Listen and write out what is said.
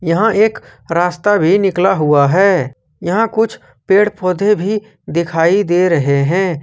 यहां एक रास्ता भी निकला हुआ है यहां कुछ पेड़ पौधे भी दिखाई दे रहे हैं।